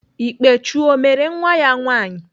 Ikpechu ọ mere nwa ya nwaanyị?